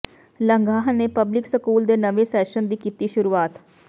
ਲੰਗਾਹ ਨੇ public school ਦੇ ਨਵੇਂ ਸੈਸ਼ਨ ਦੀ ਕੀਤੀ ਸ਼ੁਰੂਆਤ